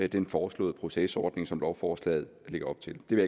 den foreslåede procesordning som lovforslaget lægger op til det vil